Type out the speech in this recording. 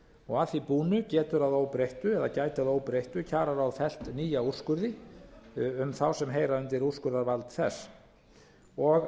og að því búnu getur að óbreyttu eða gæti að óbreyttu kjararáð að nýju fellt nýja úrskurði um þá sem heyra undir úrskurðarvald þess og